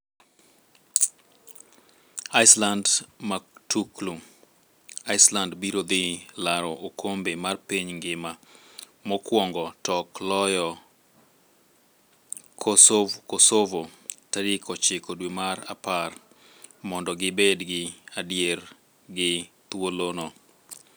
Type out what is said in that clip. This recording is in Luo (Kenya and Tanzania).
Iceland Matuklu: Iceland biro dhi laro okombe mar piny ngima mokwongo tok loyo Kosovo tarik 9 dwe mar apar mondo gi bed gi adier gi thuolo no.